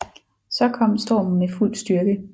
Så kom stormen med fuld styrke